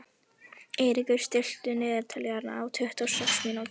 Eiríkur, stilltu niðurteljara á tuttugu og sex mínútur.